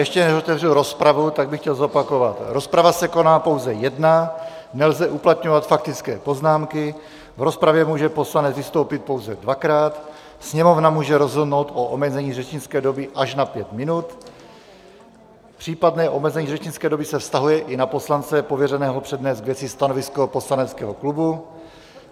Ještě než otevřu rozpravu, tak bych chtěl zopakovat: rozprava se koná pouze jedna, nelze uplatňovat faktické poznámky, v rozpravě může poslanec vystoupit pouze dvakrát, Sněmovna může rozhodnout o omezení řečnické doby až na pět minut, případné omezení řečnické doby se vztahuje i na poslance pověřeného přednést k věci stanovisko poslaneckého klubu.